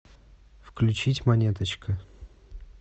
включить монеточка